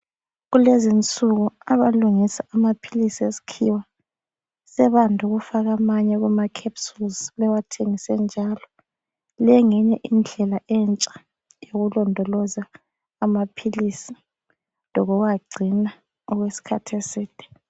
Kulezinsuku abalungisa amaphilisi eskhiwa sebande ukufika amanye kuma capsules bewathengise enjalo. Le ngeyinye indlela entsha yokulondoloza amaphilisi lokuwagcina okwesikhathi eside.